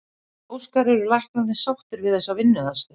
Óskar, eru læknarnir sáttir við þessa vinnuaðstöðu?